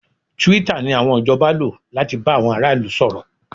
Twitter ni àwọn ìjọba lò láti bá àwọn ará ìlú sọ̀rọ̀